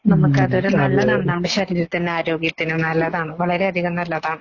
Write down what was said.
നമുക്കതൊരു നല്ലതാണ്. നമ്മുടെ ശരീരത്തിനും ആരോഗ്യത്തിനും നല്ലതാണ്. വളരെയധികം നല്ലതാണ്.